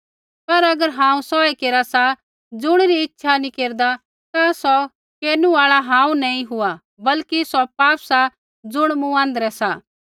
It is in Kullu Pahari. पर अगर हांऊँ सोऐ केरा सा ज़ुणिरी इच्छा नी केरदा ता सौ केरनु आल़ा हांऊँ नैंई हुआ बल्कि सौ पाप सा ज़ुण मूँ आँध्रै सा